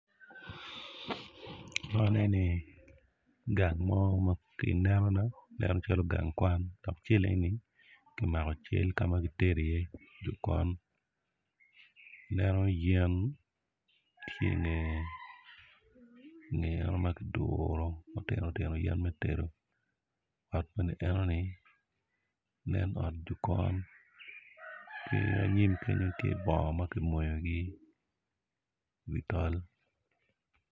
Man eni gang mo ma ki inenona aneno calo ganga kwan dok cal eni kmako cal ka ma kitedo iye jokon aneno yen tye inge eno ma kiduro yen me tedo ot enoni nen ot jokon ki anyim kenyo tye bongo ma kimoyogi iwi tol.